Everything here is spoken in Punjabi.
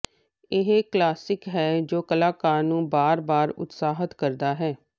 ਇਹ ਕਲਾਸਿਕ ਹੈ ਜੋ ਕਲਾਕਾਰ ਨੂੰ ਬਾਰ ਬਾਰ ਉਤਸ਼ਾਹਤ ਕਰਦਾ ਹੈ